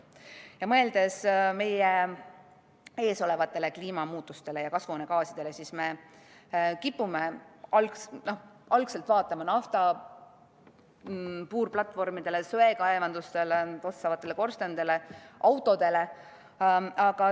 Mõeldes meie ees olevatele kliimamuutustele ja kasvuhoonegaasidele, siis me kipume kõigepealt vaatama naftapuurplatvorme, söekaevandusi, tossavaid korstnaid, autosid.